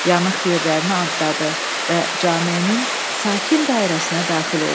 Yanıq yerlərini atladı və cameyin sakit dairəsinə daxil oldu.